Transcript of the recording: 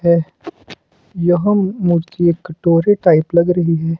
है यह मूर्ति एक कटोरी टाइप लग रही है।